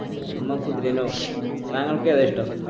നമ്മ കുതിരനെ താങ്കൾക് ഏതാ ഇഷ്ട്ടം